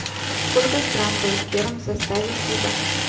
сколько стран было в первом составе фиба